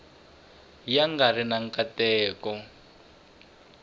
ya nga ri na nkateko